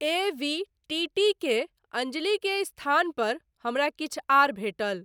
ए V T T के अंजली के स्थान पर हमरा किछु आर भेटल।